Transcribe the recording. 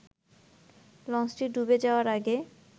লঞ্চটি ডুবে যাওয়ার আগে